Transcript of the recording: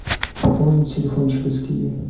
пополнить телефон через киви